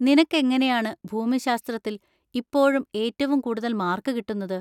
നിനക്കെങ്ങനെയാണ് ഭൂമിശാസ്ത്രത്തിൽ ഇപ്പോഴും ഏറ്റവും കൂടുതൽ മാർക്ക് കിട്ടുന്നത്?